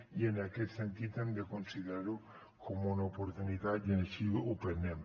i en aquest sentit hem de considerar ho com una oportunitat i així ho prenem